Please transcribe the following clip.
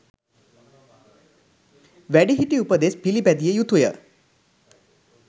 වැඩිහිටි උපදෙස් පිළිපැදිය යුතුය.